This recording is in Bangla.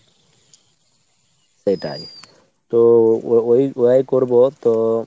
সেটাই। তো ও~ ওই ওহাই করবো তো,